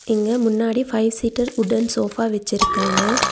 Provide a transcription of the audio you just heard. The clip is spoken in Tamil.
இங்க முன்னாடி பைவ் சீட்டர் வுட்டன் சோஃபா வெச்சிருக்காங்க.